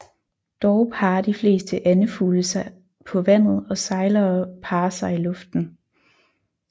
Dog parrer de fleste andefugle sig på vandet og sejlere parrer sig i luften